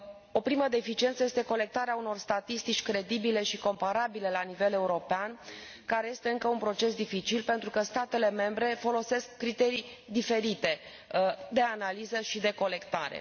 O primă deficiență este colectarea unor statistici credibile și comparabile la nivel european, care este încă un proces dificil, pentru că statele membre folosesc criterii diferite de analiză și de colectare.